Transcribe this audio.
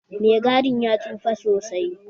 Mai gadin ya tsufa sosai